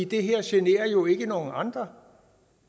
det her generer jo ikke nogen andre